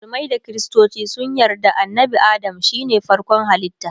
musulmai da kristoci sun yarda annabi Adam shine farkon halitta